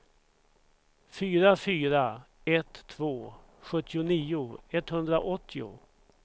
fyra fyra ett två sjuttionio etthundraåttio